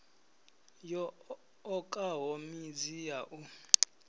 yo okaho midzi ya u